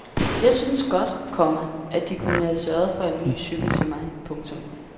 Jeg synes godt, komma at de kunne have sørget for en ny cykel til mig. punktum